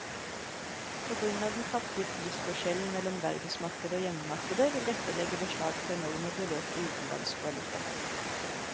På grunn av den kraftige prisforskjellen mellom verdensmarkedet og hjemmemarkedet vil dette legge beslag på enorme beløp i utenlandsk valuta.